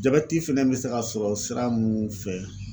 Jabɛti fɛnɛ bɛ se ka sɔrɔ sira mun fɛ